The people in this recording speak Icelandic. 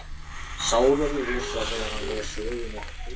Sá verður hissa þegar hann les söguna.